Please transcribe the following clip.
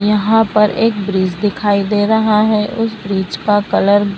यहां पर एक ब्रिज दिखाई दे रहा है उसे ब्रिज का कलर --